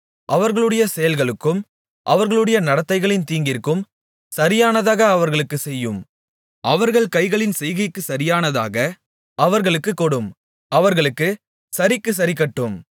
அவர்களுடைய செயல்களுக்கும் அவர்களுடைய நடத்தைகளின் தீங்கிற்கும் சரியானதாக அவர்களுக்குச் செய்யும் அவர்கள் கைகளின் செய்கைக்கு சரியானதாக அவர்களுக்குக் கொடும் அவர்களுக்குச் சரிக்குச் சரிக்கட்டும்